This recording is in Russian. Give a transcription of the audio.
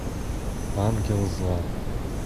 ангел зла